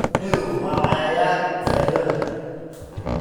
Shinnidu waa cayayaan faa'iido leh.